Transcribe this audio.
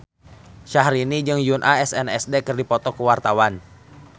Syahrini jeung Yoona SNSD keur dipoto ku wartawan